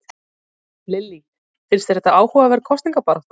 Lillý: Finnst þér þetta áhugaverð kosningabarátta?